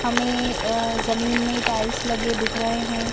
हमें अ जमीन में टाइल्स लगे दिख रहे हैं।